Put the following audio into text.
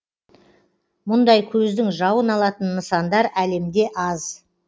мұндай көздің жауын алатын нысандар әлемде аз